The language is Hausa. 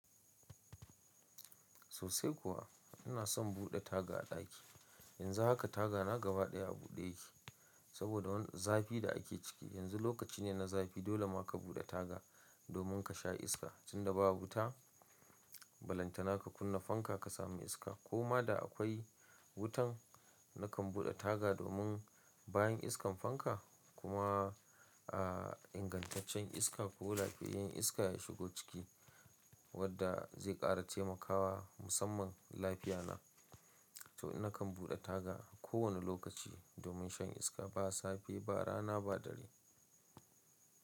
Sosai kuwa ina son buɗe taga a ɗaki. Yanzu haka taga na gaba ɗaya a buɗe yake saboda wani zafi da ake ciki. Yanzu lokaci ne na zafi dole ma ka buɗe taga domin ka sha iska. Tun da ba wuta, ballantana ka kunna fanka ka samu iska. Koma da akwai wutan nakan buɗe taga domin bayan iskan fanka kuma a ingantaccen iska ko lafiyayyen iska ya shigo ciki wadda zai ƙara taimakawa musamman lafiya na. To nakan buɗe taga ko wani lokaci domin shan iska ba safe ba rana ba dare.